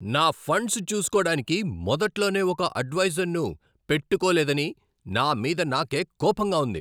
నా ఫండ్స్ చూసుకోడానికి మొదట్లోనే ఒక అడ్వైజర్ను పెట్టుకోలేదని నా మీద నాకే కోపంగా ఉంది.